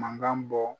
Mankan bɔ